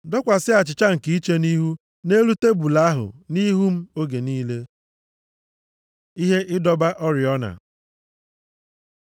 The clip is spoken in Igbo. Dọkwasị achịcha nke iche nʼIhu nʼelu tebul ahụ, nʼihu m, oge niile. Ihe ịdọba oriọna